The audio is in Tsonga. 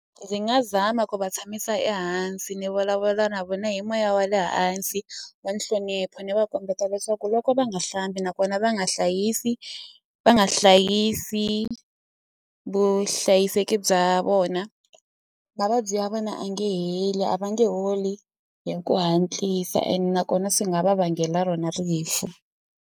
Ndzi nga zama ku va tshamisa ehansi ni vulavula na vona hi moya wa le hansi wa nhlonipho ni va kombeta leswaku loko va nga hlambi nakona va nga hlayisi va nga hlayisi vuhlayiseki bya vona mavabyi ya vona a nge heli a va nge holi hi ku hatlisa ene nakona swi nga va vangela rona rifu.